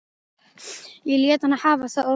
Ég lét hann hafa það óþvegið.